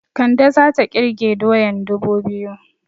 Kande zata ƙirge doyan dubu biyu